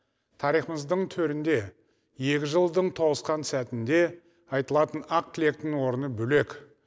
тарихымыздың төрінде екі жылдың тоғысқан сәтінде айтылатын ақ тілектің орны бөлек